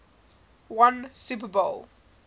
won super bowl